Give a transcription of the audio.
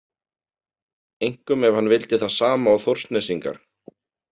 Einkum ef hann vildi það sama og Þórsnesingar.